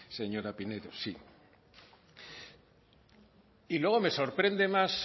señora pinedo sí y luego me sorprende más